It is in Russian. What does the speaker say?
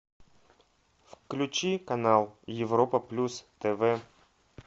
включи канал европа плюс тв